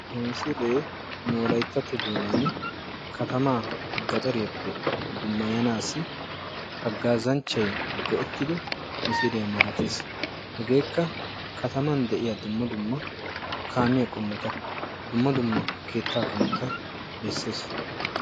ha misilee nu wolayittatto doonaan katamaa gaxariyaappe dummayanaassi haggaazanchchay go'ettido misiliya malates. hegeekka kataman de'iya dumma dumma kaamiya qommota dumma dumma keettaa qommota besses.